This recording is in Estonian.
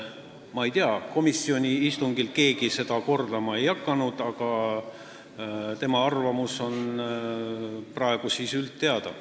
Keegi seda komisjoni istungil kordama ei hakanud, aga tema arvamus on praegu üldteada.